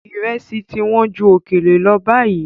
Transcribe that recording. Ìrẹsì ti wọ́n ju òkèlè lọ báyìí.